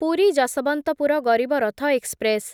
Puri Yesvantpur Garib Rath express